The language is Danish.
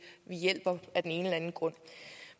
hjælper af den ene eller anden grund